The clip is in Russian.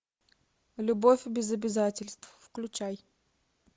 любовь без обязательств включай